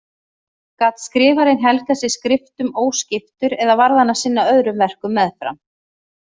Gat skrifarinn helgað sig skriftum óskiptur eða varð hann að sinna öðrum verkum meðfram?